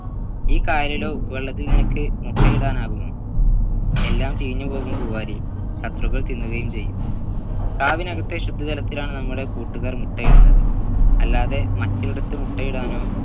ഈ കായലിലോ ഉപ്പുവെള്ളത്തിൽ നിനക്ക് മുട്ടയിടാൻ ആകുമോ എല്ലാം ചീഞ്ഞുപോകും പൂവാലി ശത്രുക്കൾ തിന്നുകയും ചെയ്യും കാവിനകത്തെ ശുദ്ധജലത്തിലാണ് നമ്മുടെ കൂട്ടുകാർ മുട്ടയിടുന്നത് അല്ലാതെ മറ്റേടത്തു മുട്ടയിടാനോ